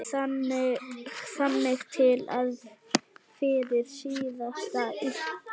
Þangað til fyrir síðasta uppboð.